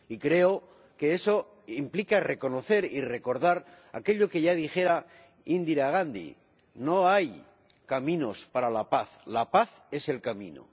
Y creo que eso implica reconocer y recordar aquello que ya dijera Indira Gandhi No hay caminos para la paz, la paz es el camino.